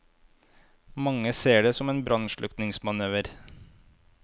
Mange ser det som en brannslukningsmanøver.